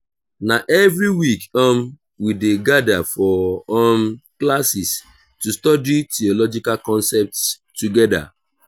na every week um we dey gather for um classes to study theological concepts together.